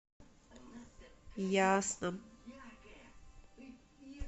ясном